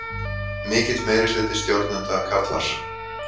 Mikill meirihluti stjórnenda karlar